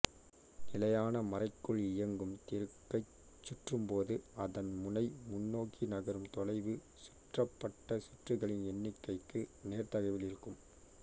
நிலையான மரைக்குள் இயங்கும் திருகைச் சுற்றும்போது அதன் முனை முன்னோக்கி நகரும் தொலைவு சுற்றப்பட்ட சுற்றுக்களின் எண்ணிக்கைக்கு நேர்தகவில் இருக்கும்